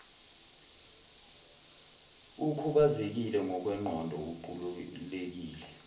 ukhubazekile ngokwengqondo uqulekile